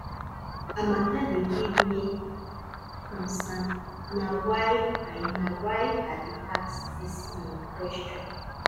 her mata dey give me concern na why i na why i dey ask dis um question